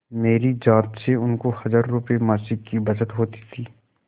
मेरी जात से उनको हजारों रुपयेमासिक की बचत होती थी